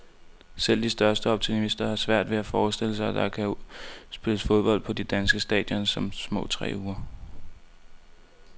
Selv de største optimister har svært ved at forestille sig, at der kan spilles fodbold på de danske stadions om små tre uger.